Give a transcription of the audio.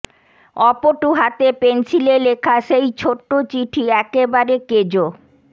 অপটু হাতে পেনসিলে লেখা সেই ছোট চিঠি একেবারে কেজো